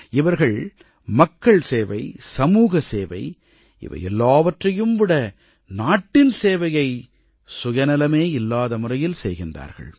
இவர்கள் மக்கள்சேவை சமூகசேவை இவை எல்லாவற்றையும் விட நாட்டின் சேவையை சுயநலமே இல்லாத முறையில் செய்கிறார்கள்